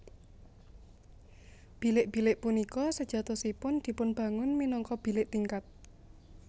Bilik bilik punika sejatosipun dipun bangun minangka bilik tingkat